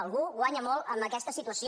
algú guanya molt amb aquesta situació